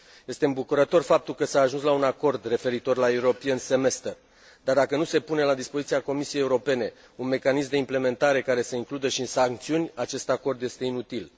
Este îmbucurător faptul că s a ajuns la un acord referitor la dar dacă nu se pune la dispoziția Comisiei Europene un mecanism de implementare care să includă și sancțiuni, acest acord este inutil.